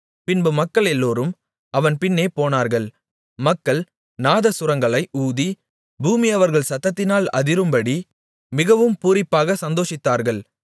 பின்பு மக்களெல்லோரும் அவன் பின்னே போனார்கள் மக்கள் நாதசுரங்களை ஊதி பூமி அவர்கள் சத்தத்தினால் அதிரும்படி மிகவும் பூரிப்பாகச் சந்தோஷித்தார்கள்